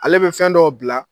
Ale bɛ fɛn dɔw bila